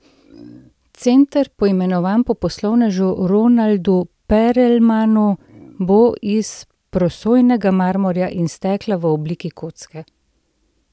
Center, poimenovan po poslovnežu Ronaldu Perelmanu, bo iz prosojnega marmorja in stekla v obliki kocke.